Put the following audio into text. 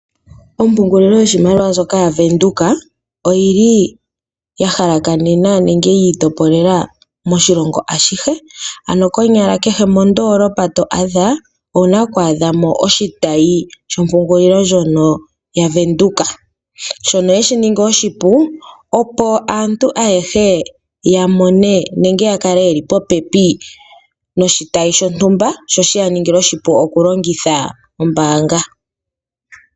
Ompungulilo yoshimaliwa ndjoka ya Venduka oyi yi itopolola moshilongo ashihe ano kehe mondoolopa to adha omuwa oku adhamo oshitayi shompungulilo ndjono ya Venduka shono hashi ningi oshipu aantu ayehe ya mone nenge yakale yeli popepi noshitayi shontumba sho shiyaningile oshipu okulongitha ombaanga.